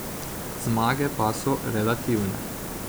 Zmage pa so relativne.